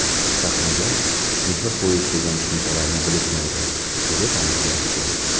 Sahnaga mehr qo‘yish degan tushunchalarni bilishmaydi”, dedi taniqli aktyor.